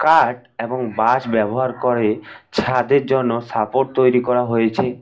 Art এবং বাশ ব্যবহার করে ছাদের জন্য সাপোর্ট তৈরি করা হয়েছে।